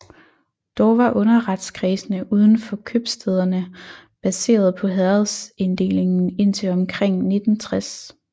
Dog var underretskredsene uden for købstæderne baseret på herredsinddelingen indtil omkring 1960